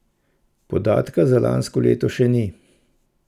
Podatka za lansko leto še ni.